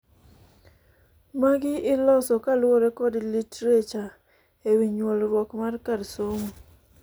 Magi iloso kaluore kod literature ewii nyuolruok mar kar somo.